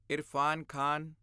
Irfan Khan